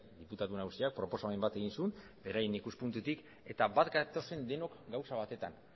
diputatu nagusiak proposamen bat egin zuen beraien ikuspuntutik eta bat gatoz denok gauza batetan